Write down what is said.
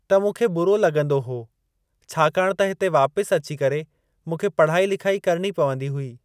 त मूंखे बुरो लॻंदो हो छाकाणि त हिते वापिस अची करे मूंखे पढ़ाई लिखाई करणी पवंदी हुई।